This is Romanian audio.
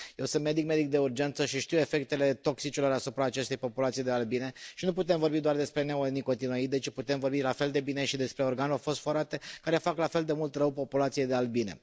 Eu sunt medic, medic de urgență, și știu efectele toxicelor asupra acestei populații de albine și nu putem vorbi doar despre neonicotinoide, ci putem vorbi la fel de bine și despre organofosforate, care fac la fel de mult rău populației de albine.